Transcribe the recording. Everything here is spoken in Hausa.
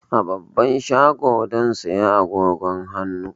A babban shago zan saya agogon hannu.